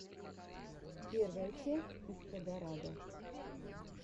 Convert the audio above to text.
первая часть истрадарада